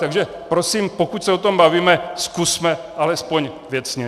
Takže prosím, pokud se o tom bavíme, zkusme alespoň věcně.